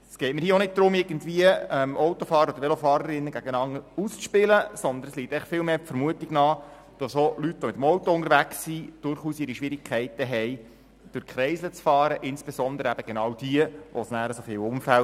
Es geht mir nicht darum, Autofahrer oder Velofahrerinnen gegeneinander auszuspielen, sondern es liegt einfach viel mehr die Vermutung nahe, dass Leute, die mit dem Auto unterwegs sind, durchaus ihre Schwierigkeiten haben, durch Kreisel zu fahren, insbesondere diejenigen, die in Unfälle verwickelt sind.